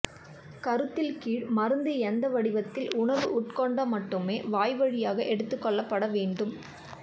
கருத்தில் கீழ் மருந்து எந்த வடிவத்தில் உணவு உட்கொண்ட மட்டுமே வாய்வழியாக எடுத்துக் கொள்ளப்பட வேண்டும்